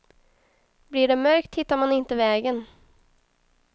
Blir det mörkt hittar man inte vägen.